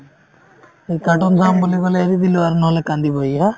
সি cartoon চাম বুলি ক'লে এৰি দিলো আৰু নহ'লে কান্দিব ই। হা?